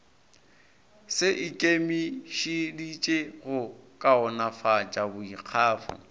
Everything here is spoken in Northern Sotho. se ikemišeditše go kaonafatša boikgafo